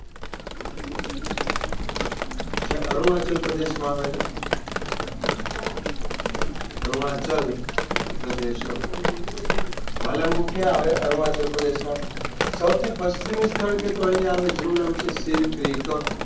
જે અરુણાચલ પ્રદેશમાં આવે છે અરુણાચલ પ્રદે વાલાન્ગુ કયા આવે અરુણાચલ પ્રદેશમાં સૌથી પશ્ચિમી સ્થળ કે તો અહિયાં આવે જેનું નામ છે શેરક્રિક